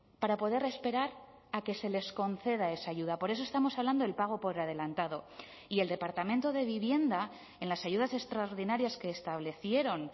para poder esperar a que se les conceda esa ayuda por eso estamos hablando del pago por adelantado y el departamento de vivienda en las ayudas extraordinarias que establecieron